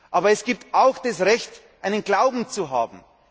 Aber es gibt auch das Recht, einen Glauben zu haben.